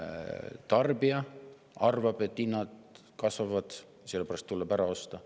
Tarbija arvab, et hinnad kasvavad, sellepärast tuleb ära osta.